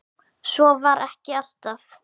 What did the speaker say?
Svo var ekki alltaf.